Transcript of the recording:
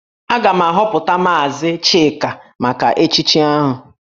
Aga m ahọpụta maazị Chika maka echichi ahụ